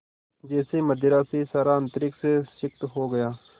जैसे मदिरा से सारा अंतरिक्ष सिक्त हो गया